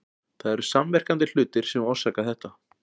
Það eru samverkandi hlutir sem orsaka þetta.